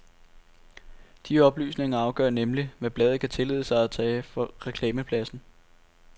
De oplysninger afgør nemlig, hvad bladet kan tillade sig at tage for reklamepladsen.